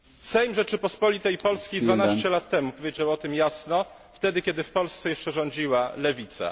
Sejm Rzeczypospolitej Polskiej 12 lat temu powiedział o tym jasno, wtedy, kiedy w Polsce jeszcze rządziła lewica.